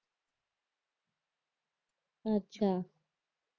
अच्छा